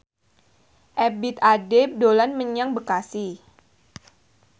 Ebith Ade dolan menyang Bekasi